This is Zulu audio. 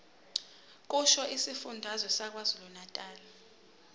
kusho isifundazwe sakwazulunatali